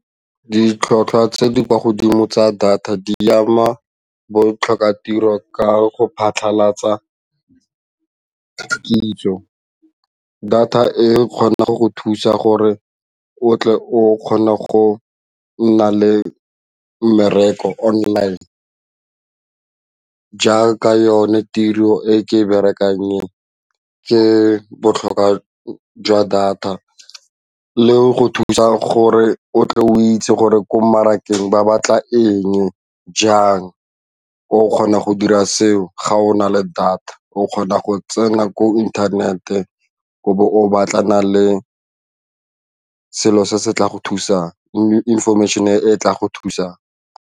Ditlhotlhwa tse di kwa godimo tsa data di ama botlhoka tiro ka go phatlhalatsa kitso, data e kgona go thusa gore o tle o kgone go nna le mmereko online jaaka yone tiro e ke e berekang e ke botlhokwa jwa data le go thusa gore o tle o itse gore ko mmarakeng ba batla eng jang, o kgona go dira seo ga o na le data o kgona go tsena ko internet-e ebe o batlana le selo se se tla go thusa information e tla go thusang.